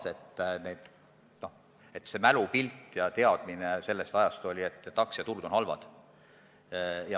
Sellega kaasnes teadmine, et aktsiaturud on halvad.